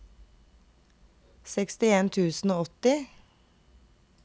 sekstien tusen og åtti